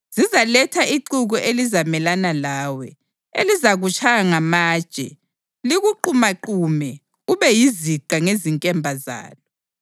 Zizaletha ixuku elizamelana lawe, elizakutshaya ngamatshe, likuqumaqume ube yiziqa ngezinkemba zalo.